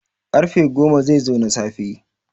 karfe goma zai zo na safe